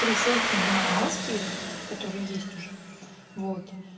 три ссылки на маски типо которые есть уже вот